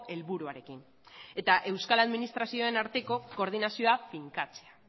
helburuarekin eta euskal administrazioen arteko koordinazioa finkatzea